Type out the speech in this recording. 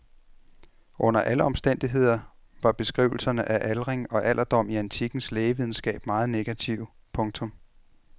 Under alle omstændigheder var beskrivelserne af aldring og alderdom i antikkens lægevidenskab meget negative. punktum